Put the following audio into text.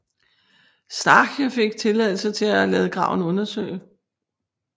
Starcke fik tilladelse til at lade graven undersøge